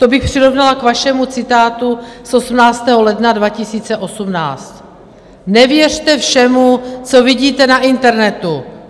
To bych přirovnala k vašemu citátu z 18. ledna 2018: Nevěřte všemu, co vidíte na internetu.